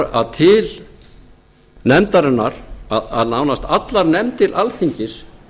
að til nefndarinnar að nánast allar nefndir alþingis